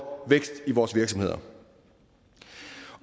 vækst i vores virksomheder